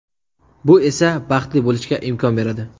Bu esa baxtli bo‘lishga imkon beradi.